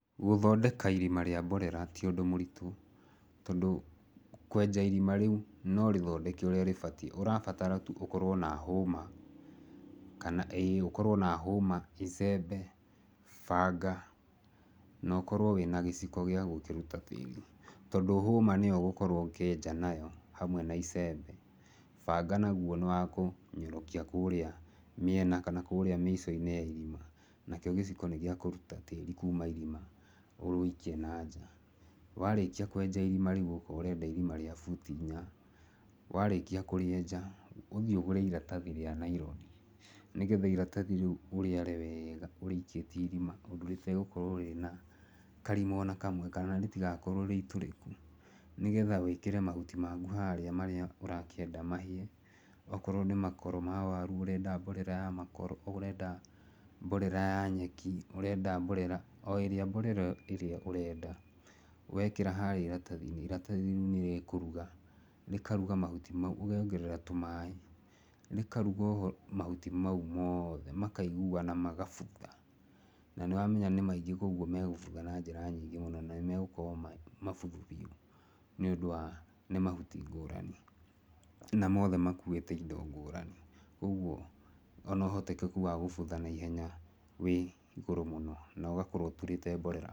Gũthondeka irima rĩa mborera ti ũndũ mũrĩtũ. Tondũ kwenja irima rĩu no ũrĩthondeke ũrĩa rĩbatĩ ũrabatara ũkorwo na hũma, kana ĩĩ ũkorwo na hũma, icembe, banga na ũkorwo wĩna gĩciko gĩa gũkĩruta tĩrĩ tondũ hũma nĩyo ũgũkorwo ũkienja nayo hamwe na icembe, banga nagwo nĩ wa kũnyorokia kũrĩa mĩena kana kũrĩa mĩico-inĩ ya irima, nakĩo gĩciko nĩ gĩa kũrũta tĩrĩ kũma irima ũwĩikie na nja. Warĩkĩa kwenja irima rĩu okorwo ũrenda irima ria buti inya, warĩkĩa kũrĩenja ũthĩi ũgũre iratathi ria nylon nĩgetha iratathi rĩu ũrĩare wega ũrĩikitie irima ũndũ rĩtagũkorwo rĩna karima ona kamwe kana rĩtigakorwo rĩ itũrĩkũ, nĩgetha wĩkĩre nĩgetha wĩkĩre mahuti makũ harĩa marĩa ũrakĩenda mahĩe okorwo nĩ makoro ma waru ũrenda mborera ya makoro, ũrenda mborera ya nyeki, ũrenda mborera, o ĩrĩa mborera ĩrĩa ũrenda wĩkĩra harĩa ĩratathi-inĩ, iratathi rĩu nĩ rĩkũruga, rĩkarũga mahũtĩ mau ũkongerera tũmaĩ rĩkaruga mahuti mau mothe makaiguana magabutha na nĩ wamenya nĩ maĩngĩ kwa ũgũo me gũbutha na njĩra nyĩngĩ mũno na nĩmegũkorwo me mabuthu biu nĩ undũ wa nĩ mahuti ngorani na mothe makũite indo ngorani. Koguo ona ũhotekeku wa gũbutha naihenya wĩ igũrũ mũno no ogakorwo ũtũrĩte mborera.